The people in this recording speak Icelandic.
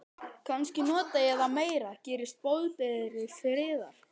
Kannski nota ég það meira, gerist boðberi friðar.